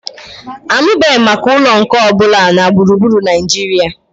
Anụbeghị m maka ụlọ nkà ọ bụla na gburugburu Naijiria